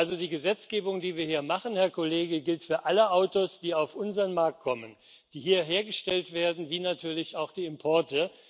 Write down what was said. Also die Gesetzgebung, die wir hier machen, Herr Kollege, gilt für alle Autos, die auf unseren Markt kommen, die hier hergestellt werden, wie natürlich auch für die Importe.